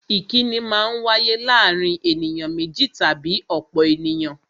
Ìkínni Maa ń wáyé láàárín ènìyàn méjì tàbí ọ̀pọ̀ ènìyàn